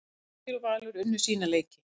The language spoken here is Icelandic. Fylkir og Valur unnu sína leiki